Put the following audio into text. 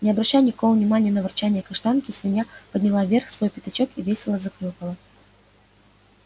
не обращая никакого внимания на ворчанье каштанки свинья подняла вверх свой пятачок и весело захрюкала